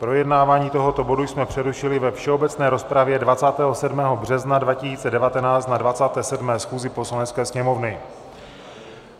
Projednávání tohoto bodu jsme přerušili ve všeobecné rozpravě 27. března 2019 na 27. schůzi Poslanecké sněmovny.